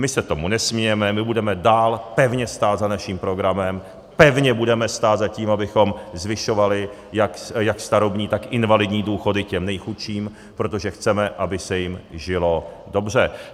My se tomu nesmějeme, my budeme dál pevně stát za naším programem, pevně budeme stát za tím, abychom zvyšovali jak starobní, tak invalidní důchody těm nejchudším, protože chceme, aby se jim žilo dobře.